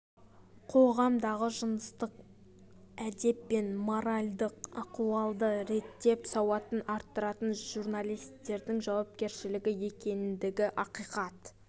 қоғамдағы жыныстық әдеп пен моральдық ахуалды реттеп сауатын арттыратын журналистердің жауапкершілігі екендігі ақиқат